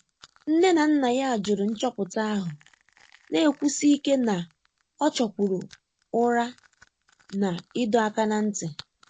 Nné nà nná yá jụ́rụ̀ nchọ́pụ́tà áhụ́, nà-ékwúsí íké nà ọ́ chọ́kwùrù ụ́rà nà ị́dọ́ áká n’á ntị́.